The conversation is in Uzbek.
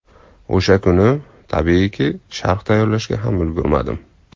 O‘sha kuni, tabiiyki, sharh tayyorlashga ham ulgurmadim.